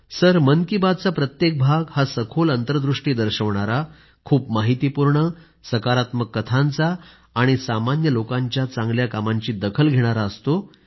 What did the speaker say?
sir Mann Ki Baat चा प्रत्येक भाग हा सखोल अंतर्दृष्टी दर्शवणारा खूप माहितीपूर्ण सकारात्मक कथांचा आणि सर्व सामान्य लोकांच्या चांगल्या कामांची दखल घेणारा असतो